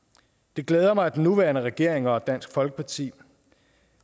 det glæder mig at den nuværende regering og dansk folkeparti